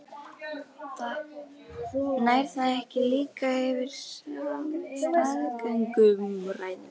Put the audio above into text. Nær það ekki líka yfir staðgöngumæðrun?